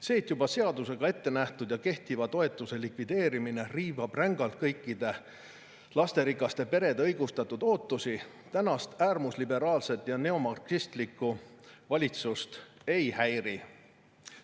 See, et juba seadusega ette nähtud ja kehtiva toetuse likvideerimine riivab rängalt kõikide lasterikaste perede õigustatud ootusi, tänast äärmusliberaalset ja neomarksistlikku valitsust ei häiri.